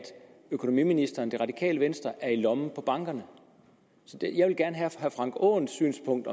økonomiministeren det radikale venstre er i lommen på bankerne jeg vil gerne have herre frank aaens synspunkt